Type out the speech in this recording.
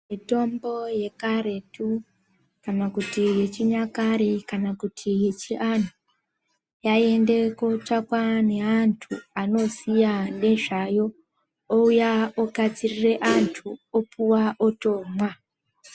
Mitombo yekaretu kana kuti yechinyakare kana kuti yechianhu yaiende kotsvakwa neantu anoziya nezvayo ouya ogadzirire antu, opuwa otomwa.